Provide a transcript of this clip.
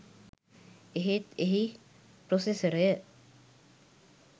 එහෙත් එහි ප්‍රොසෙසරය